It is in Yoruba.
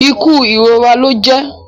Ikú irora lọ jẹ